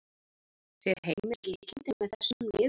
Sér Heimir líkindi með þessum liðum?